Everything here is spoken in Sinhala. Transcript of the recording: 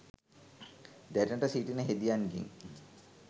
දැනට සිටින හෙදියන්ගෙන්